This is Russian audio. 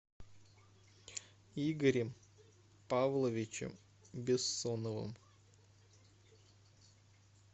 игорем павловичем бессоновым